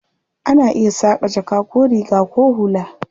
Ana iya saƙa jaka ko riga ko hula.